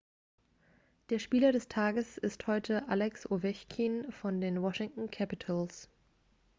der spieler des tages ist heute alex ovechkin von den washington capitals